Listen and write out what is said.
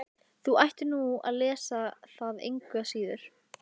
Þú ættir nú að lesa það engu að síður.